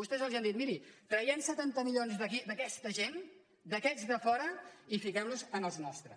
vostès els diguin mirin traguem setanta milions d’aquí d’aquesta gent d’aquests de fora i fiquem los en els nostres